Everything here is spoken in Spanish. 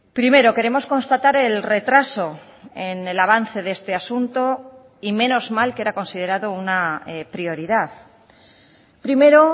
primero queremos constatar el retraso en el avance de este asunto y menos mal que era considerado una prioridad primero